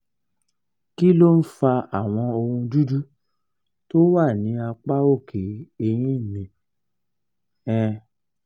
kí ló ń fa àwọn ohun dúdú tó wà ní apá òkè eyín mi? um